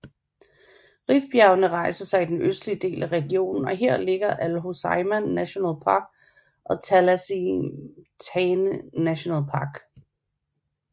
Rifbjergene rejser sig i den østlige del af regionen og her ligger Al Hoceima National Park og Talassemtane National Park